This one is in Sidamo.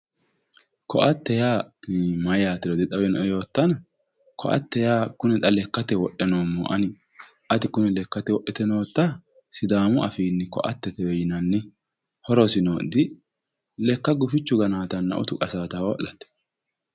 Koatte yaa mayatero dixawinoe yoottanna koatte yaa kune lekkate wodhe noommoho ani ati kune lekkate wodhite noottaha sidaamu afiini koattetewe yinnanni horosino lekka gufichunna diutichu qasanotta ho'late.